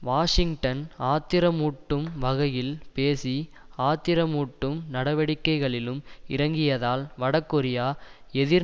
Washington ஆத்திரமூட்டும் வகையில் பேசி ஆத்திரமூட்டும் நடவடிக்கைகளிலும் இறங்கியதால் வடகொரியா எதிர்